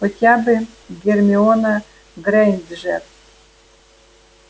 хотя бы гермиона грэйнджер